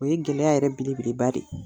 O ye gɛlɛya yɛrɛ belebeleba de ye,